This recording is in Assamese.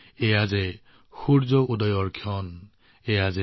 এতিয়া সূৰ্য উদয় হৈছে